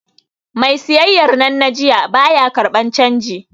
Mai siyayyar nan na jiya, ba ya karɓar canji.